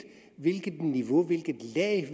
niveau i